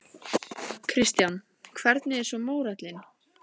Kristján: Hvernig er svo mórallinn?